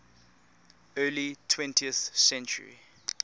early twentieth century